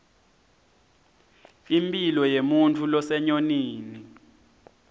impilo yemuntfu losenyonini